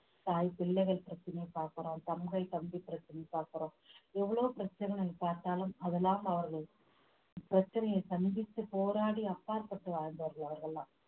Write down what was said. தாய் பிள்ளைகள் பிரச்சனையை பார்க்கிறோம் தங்கை தம்பி பிரச்சனையை பார்க்கிறோம் எவ்ளோ பிரச்சனைகள் பார்த்தாலும் அதெல்லாம் அவர்கள்பிரச்சனைய சந்தித்து போராடி அப்பாற்பட்டு வாழ்ந்தவர்கள் அவர்கள்தான்